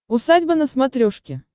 усадьба на смотрешке